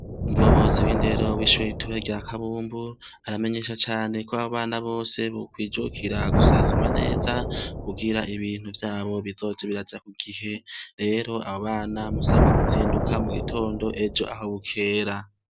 Umuyobozi w'indero w'ishure ritoyi rya kabumbu aramenyesha cane kw'abana Bose bokwijukira gusansumwa neza, kugira ibintu vyabo bizoze biraja kugihe, rero abo bana bisabwa kuzinduka ejo mugitindo aho bukera.